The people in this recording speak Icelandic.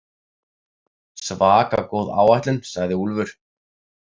Svaka góð áætlun, sagði Úlfur.